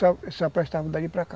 Só prestava dali para cá.